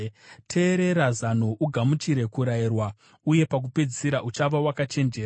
Teerera zano ugamuchire kurayirwa, uye pakupedzisira uchava wakachenjera.